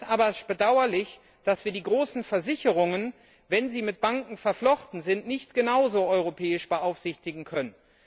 Es ist aber bedauerlich, dass wir die großen Versicherungen, wenn sie mit Banken verflochten sind, nicht genauso europäisch beaufsichtigen können.